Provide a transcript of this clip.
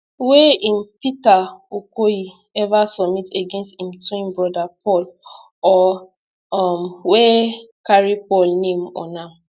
wey im peter okoye ever submit against im twin brother paul or um wey carry paul name on am